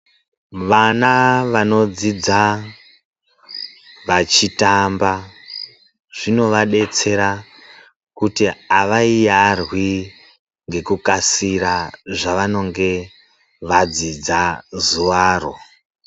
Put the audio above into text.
Vana vanodzidza vachitamba zvinova detsera kuti avariyarwi ngekukasira zvavanenge vadzidza zuva ro.